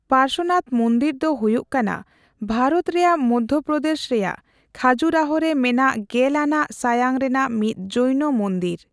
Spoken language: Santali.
ᱯᱟᱨᱥᱚᱱᱟᱛ ᱢᱩᱱᱫᱤᱨ ᱫᱚ ᱦᱩᱭᱩᱜ ᱠᱟᱱᱟ ᱵᱷᱟᱨᱚᱛ ᱨᱮᱭᱟᱜ ᱢᱚᱫᱽᱫᱷᱚᱯᱨᱚᱫᱮᱥ ᱨᱮᱭᱟᱜ ᱠᱷᱟᱡᱩᱨᱟᱦᱳ ᱨᱮ ᱢᱮᱱᱟᱜ ᱜᱮᱞ ᱟᱱᱟᱜ ᱥᱟᱭᱟᱝ ᱨᱮᱱᱟᱜ ᱢᱤᱫ ᱡᱳᱭᱱᱚ ᱢᱚᱱᱫᱤᱨ ᱾